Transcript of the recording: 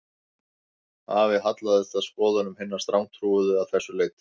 Afi hallaðist að skoðunum hinna strangtrúuðu að þessu leyti